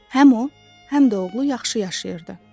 Həm o, həm də oğlu yaxşı yaşayırdı.